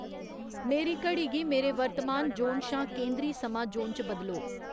मेरी घड़ी गी मेरे वर्तमान ज़ोन शा केंदरी समां ज़ोन च बदलो